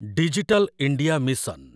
digital India mission